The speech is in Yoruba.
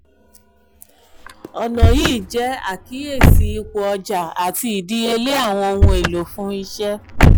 ọna yii ṣe akiyesi ipo ọja ati idiyele awọn ohun elo fun iṣẹ.